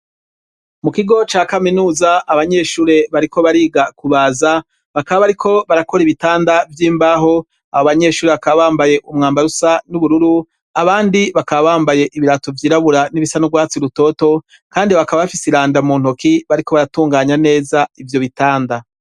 mu kigo ca kaminuza abanyeshuri bariko bariga kubaza bakaba bariko barakora ibitanda by'imbaho abo abanyeshuri bakaba bambaye umwambarusa n'ubururu abandi bakaba bambaye ibirato vyirabura n'ibisanurwatsi urutoto kandi bakaba bafise ilanda mu ntoki bariko baratunganya neza ibyo bitanda